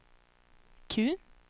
Q